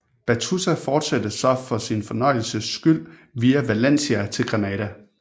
Battuta fortsatte så for sin fornøjelses skyld via Valencia til Granada